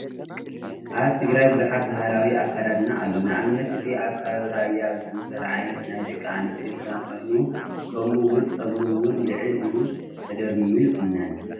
ኣብ ትግራይ ብዙሓት ባህላዊ ኣካዳድና ኣሎ፡፡ ንኣብነት እዚ ኣብ ከባቢ ራያ ዝዝውተር ዓይነት ናይ ደቂ ኣንስትዮ ክዳን ኮይኑ ከምኡ ውን ፀጉረን ውን ልዕል ኢሉ ተደርሚሙ ይቑነን፡፡